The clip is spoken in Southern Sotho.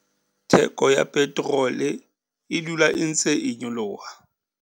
Theko ya peterole e dula e ntse e nyoloha.